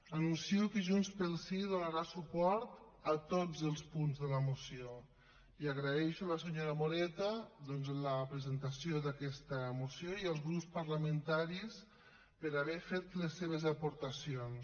anuncio que junts pel sí donarà suport a tots els punts de la moció i agraeixo a la senyora moreta doncs la presentació d’aquesta moció i als grups parlamentaris haver hi fet les seves aportacions